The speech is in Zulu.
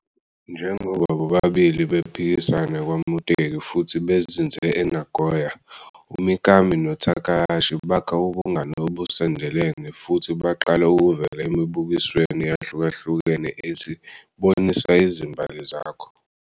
Njengoba bobabili bephikisana kwaMuteki futhi bezinze eNagoya, uMikami noTakahashi bakha ubungani obusondelene futhi baqala ukuvela emibukisweni eyahlukahlukene ethi "BONISA IZIMBALI ZAKHO".